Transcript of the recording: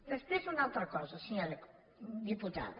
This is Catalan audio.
després una altra cosa senyora diputada